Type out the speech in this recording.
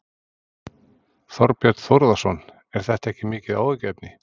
Þorbjörn Þórðarson: Er þetta ekki mikið áhyggjuefni?